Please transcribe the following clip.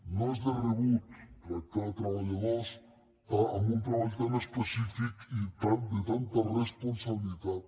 no és de rebut tractar treballadors amb un treball tan específic i de tanta responsabilitat